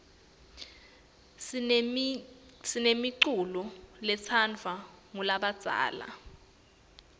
sinemiculo letsandvwa ngulabadzala